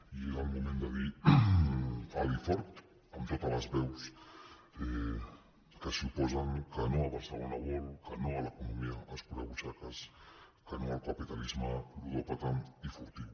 i és el moment de dir alt i fort amb totes les veus que s’hi oposen que no a barcelona world que no a l’economia escurabutxaques que no al capitalisme ludòpata i furtiu